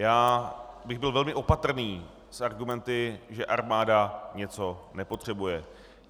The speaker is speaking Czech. Já bych byl velmi opatrný s argumenty, že armáda něco nepotřebuje.